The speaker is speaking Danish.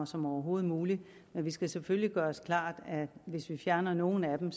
som overhovedet muligt men vi skal selvfølgelig gøre os klart at hvis vi fjerner nogle af dem